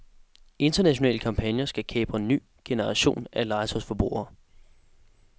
Internationale kampagner skal kapre ny generation af legetøjsforbrugere.